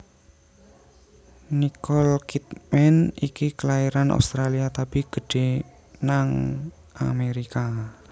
Nicole Kidman iki kelairan Australia tapi gedhe nang Amerika